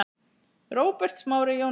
Róbert Smári Jónsson